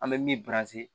An bɛ min